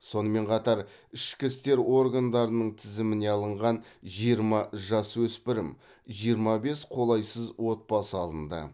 сонымен қатар ішкі істер органдарының тізіміне алынған жиырма жасөспірім жиырма бес қолайсыз отбасы алынды